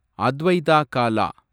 Advaita Kaala